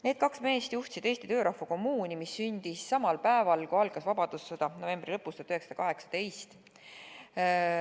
Need kaks meest juhtisid Eesti Töörahva Kommuuni, mis sündis samal päeval, kui algas vabadussõda, 1918. aasta novembri lõpus.